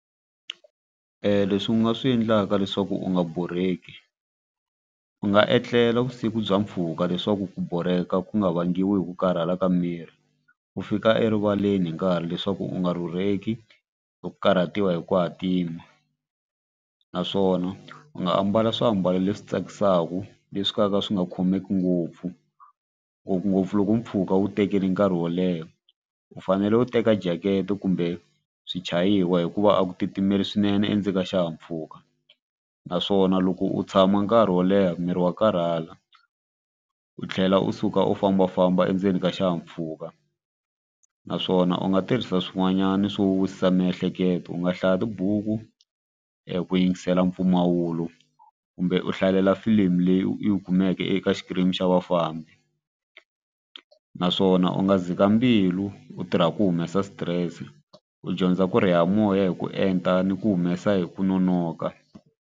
Leswi u nga swi endlaka leswaku u nga borheki u nga etlela vusiku bya mpfhuka leswaku ku borheka ku nga vangiwa hi ku karhala ka miri u fika erivaleni hi nkarhi leswaku u nga rhurheki hi ku karhatiwa hi ku hatima naswona u nga ambala swiambalo leswi tsakisaka leswi ka ka swi nga khomeki ngopfu ngopfungopfu loko mpfhuka wu tekeli nkarhi wo leha. U fanele u teka jacket kumbe swichayiwa hikuva a ku titimela swinene endzeni ka xihahampfhuka naswona loko u tshama nkarhi wo leha miri wa karhala u tlhela u suka u fambafamba endzeni ka xihahampfhuka naswona u nga tirhisa swin'wanyana swo wisisa miehleketo u nga hlaya tibuku ku yingisela mpfumawulo kumbe u hlalela filimi leyi u kumeke eka xikimi xa vafambi naswona u nga dzika mbilu u tirha ku humesa stress u dyondza ku ri ya moya hi ku enta ni ku humesa hi ku nonoka.